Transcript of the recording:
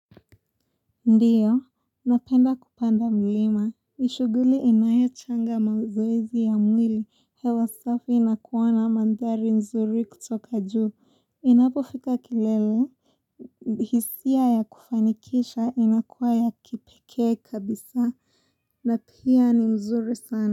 Ndiyo, napenda kupanda mlima. Ishuguli inayo changa mawezoezi ya mwili, hewa safi na kuwana mandhari mzuri kutoka juu. Inapo fika kilele. Hisia ya kufanikisha inakuwa ya kipeke kabisa. Na pia ni mzuri sana.